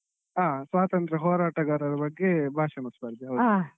ಹಾ ಸ್ವಾತಂತ್ರ್ಯ ಹೋರಾಟಗಾರರ ಬಗ್ಗೆ ಭಾಷಣ ಸ್ಪರ್ಧೆ ಹೌದು.